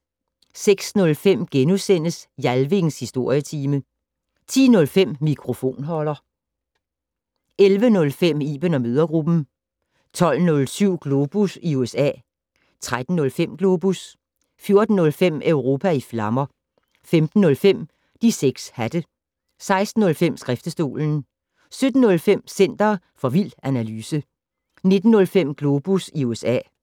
06:05: Jalvings Historietime * 10:05: Mikrofonholder 11:05: Iben & mødregruppen 12:07: Globus i USA 13:05: Globus 14:05: Europa i flammer 15:05: De 6 hatte 16:05: Skriftestolen 17:05: Center for vild analyse 19:05: Globus USA